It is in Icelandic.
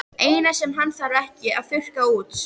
Eina sem hann þarf ekki að þurrka út.